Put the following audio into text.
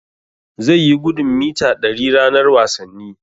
Zai yi gudun mita ɗari ranar wasanni.